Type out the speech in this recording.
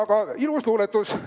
Aga ilus luuletus!